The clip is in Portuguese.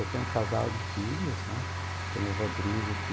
Eu tenho um casal de filhos, né, tenho o Rodrigo que